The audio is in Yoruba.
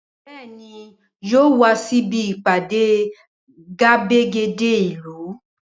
Bẹẹni yóò wà síbi ìpàde gbàgede ìlú